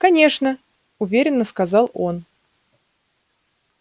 конечно уверенно сказал он